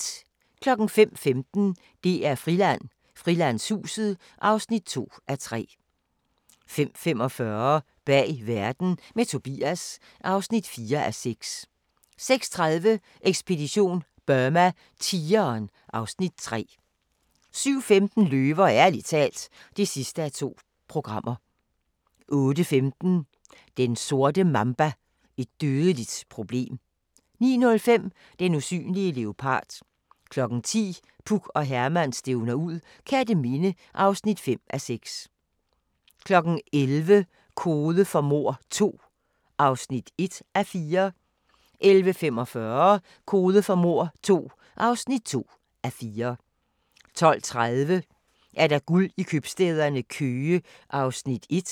05:15: DR-Friland: Frilandshuset (2:3) 05:45: Bag verden – med Tobias (4:6) 06:30: Ekspedition Burma: Tigeren (Afs. 3) 07:15: Løver – ærligt talt (2:2) 08:15: Den sorte mamba: Et dødeligt problem 09:05: Den usynlige leopard 10:00: Puk og Herman stævner ud - Kerteminde (5:6) 11:00: Kode for mord II (1:4) 11:45: Kode for mord II (2:4) 12:30: Guld i købstæderne – Køge (1:10)